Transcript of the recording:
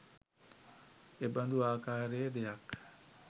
එබඳු ආකාරයේ දෙයක්